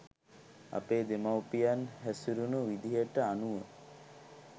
අපේ දෙමව්පියන් හැසුරුණු විදිහට අනුව